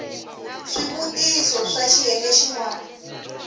swivutiso swa xiyenge xin wana